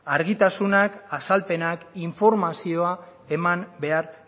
argitasunak azalpenak informazioa eman behar